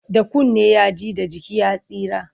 Da kunne ya ji, da jiki ya tsira.